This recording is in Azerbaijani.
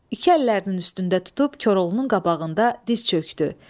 İki əllərinin üstündə tutub Koroğlunun qabağında diz çökdü.